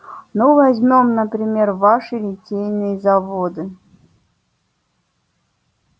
ну возьмём например ваши литейные заводы